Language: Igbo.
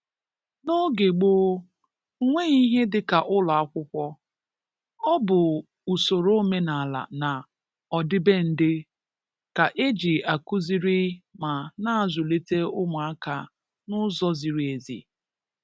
N’oge gboo, o nweghị ihe dị ka ụlọ akwụkwọ, Ọ bụ usoro omenala na ọdịbendị ka e ji akụziri ma na-azulite ụmụaka n'ụzọ ziri ezi